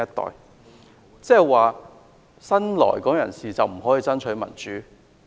他是否意指新來港人士不可以爭取民主？